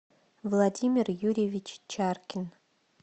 владимир юрьевич чаркин